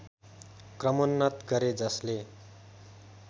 क्रमोन्नत गरे जसले